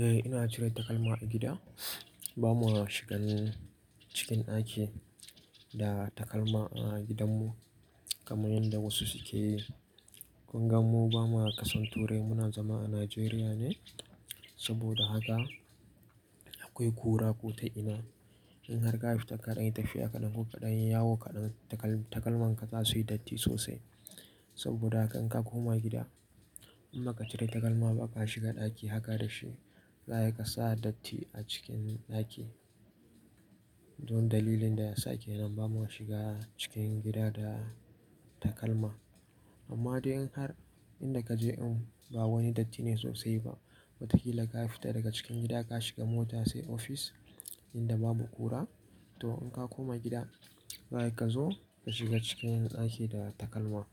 Eh ina cire takalma a gida. Ba mu shigan cikin ɗaki da takalma a gidanmu kamar yadda wasu suke yi. Kun gan mu ba mu ƙasan turai muna zama a Najeriya ne. Saboda haka akwai kura ko ta ina. In har ka fita kaɗan yi tafiya kaɗan ko kaɗan yawo kaɗan takal-takalman ka za su yi datti sosai. Saboda haka in ka koma gida in ba ka cire takalma ba aka shiga ɗaki haka da shi, za ka sa datti a cikin ɗaki. Don dalilin da ya sake nan ba mu shiga cikin gida da takalma. Amma dai in har in da ka je in ba wani datti ne sosai ba, watakila ka fita daga cikin gida ka shiga mota sai ofis inda babu kura. To in ka koma gida, za ka zo ka shiga cikin ɗaki da takalma.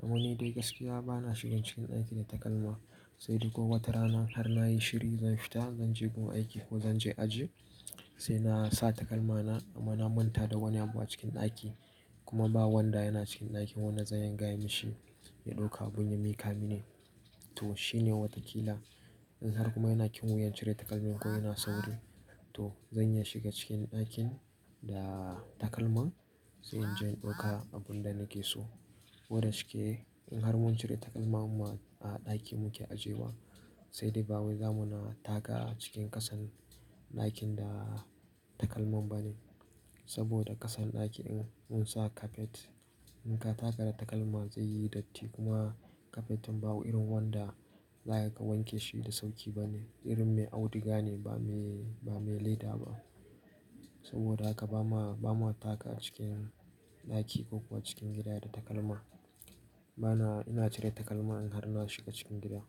Domin dai gaskiya ba na shigan cikin ɗaki da takalma. Sai dai ko wata rana har na yi shiri zan fita zan je gun aiki ko zan je aji sai na sa takalma na amma na manta da wani abu a cikin ɗaki kuma ba wanda yana cikin ɗakin wannan zan iya gaya mashi ya ɗauka abun ya miƙa mini. To shi ne watakila in har kuma ina kyuyan cire takalmin ko yana sauki. To zan iya shiga cikin ɗakin da takalma sai in je in ɗauka abun da nake so. Koda shike in har mun cire takalma mu ma a ɗakin muke ajiye wa sai dai ba wui zamu na taka a cikin ƙasan ɗakin da takalman ba ne. Saboda ƙasan ɗakin in mun sa kafet in ka taka da takalma zai yi datti kuma kafet in ba wuri irin wanda za ka wanke shi da sauƙi ba ne. Irin mai auduga ne ba me, ba me leda ba. Saboda haka ba mu, ba mu taka a cikin ɗaki ko kuwa cikin gida da takalma. Ba na, ina cire takalma in har na shiga cikin gida.